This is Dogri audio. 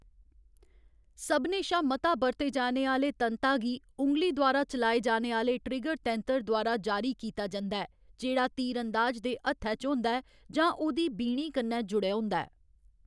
सभनें शा मता बरते जाने आह्‌‌‌ले तंता गी उँगली द्वारा चलाए जाने आह्‌ले ट्रिगर तैंतर द्वारा जारी कीता जंदा ऐ, जेह्‌‌ड़ा तीरअंदाज दे हत्थै च होंदा ऐ जां उं'दी बीणी कन्नै जुड़ेआ होंदा ऐ।